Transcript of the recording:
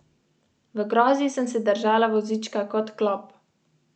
Kot je še dodal Stojnšek, oseba ni v življenjski nevarnosti.